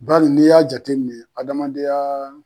Bari n'i y'a jateminɛ adamadenyaa